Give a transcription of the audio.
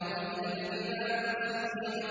وَإِذَا الْجِبَالُ سُيِّرَتْ